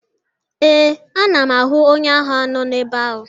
Ee, ana m ahụ onye agha nọ ebe ahụ.